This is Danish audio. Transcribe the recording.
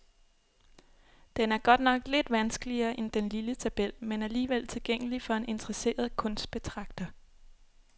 Den er godt nok lidt vanskeligere end den lille tabel, men alligevel tilgængelig for en interesseret kunstbetragter.